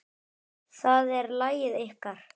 Það er lagið ykkar.